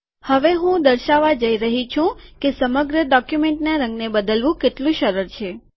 હવે હું દર્શાવવા જઈ રહ્યો છુ કે સમગ્ર ડોક્યુમેન્ટના રંગને બદલવું કેટલું સરળ છે